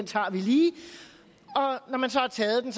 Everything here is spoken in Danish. tager vi lige og når man så har taget den